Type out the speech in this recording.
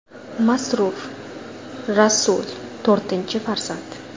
Masrur : Rasul, to‘rtinchi farzand.